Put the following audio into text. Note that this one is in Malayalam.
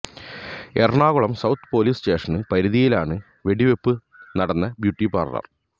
എറണാകുളം സൌത്ത് പോലീസ് സ്റ്റേഷന് പരിധിയിലാണ് വെടിവെപ്പ് നടന്ന ബ്യൂട്ടി പാര്ലര്